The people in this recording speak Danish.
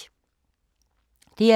DR2